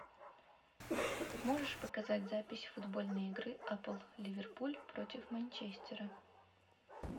можешь показать запись футбольной игры апл ливерпуль против манчестера